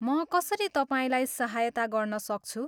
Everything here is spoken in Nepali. म कसरी तपाईँलाई सहायता गर्न सक्छु?